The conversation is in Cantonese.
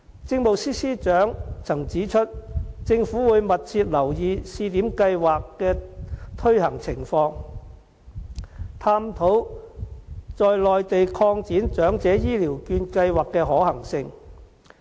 政務司司長曾指出，政府會密切留意試點計劃的推行情況，探討在內地擴展長者醫療券計劃的可行性。